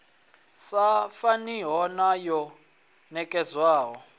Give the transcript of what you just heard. sa faniho na yo nekedzwaho